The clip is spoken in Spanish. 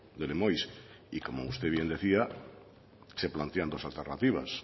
de lemoiz y como usted bien decía se plantean dos alternativas